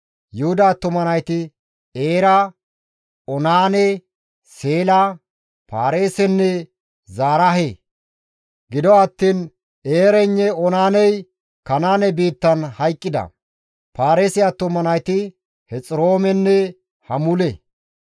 Yuhuda attuma nayti Eera, Oonaane, Seela, Paareesenne Zaraahe; gido attiin Eeraynne Oonaaney Kanaane biittan hayqqida. Paareese attuma nayti Hexiroomenne Hamule.